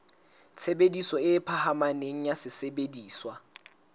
tshebediso e phahameng ya sesebediswa